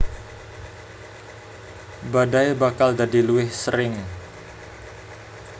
Badai bakal dadi luwih sering